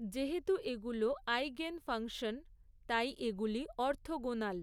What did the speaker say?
যেহেতু এগুলো eigen function, তাই এগুলি অর্থোগোনাল।